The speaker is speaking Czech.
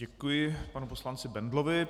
Děkuji panu poslanci Bendlovi.